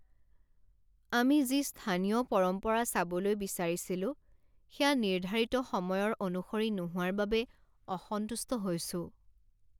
আমি যি স্থানীয় পৰম্পৰা চাবলৈ বিচাৰিছিলো সেয়া নিৰ্ধাৰিত সময়ৰ অনুসৰি নোহোৱাৰ বাবে অসন্তুষ্ট হৈছোঁ।